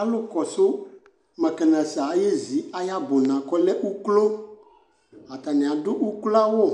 alò kɔsu mɛkanizɛ ayezi ayi ɔbuna k'ɔlɛ uklo atani adu uklo awu